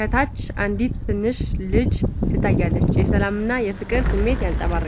ከታች አንዲት ትንሽ ልጅ ትታያለች። የሰላምና የፍቅር ስሜት ያንጸባርቃል።